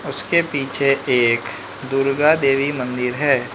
उसके पीछे एक दुर्गा देवी मंदिर है।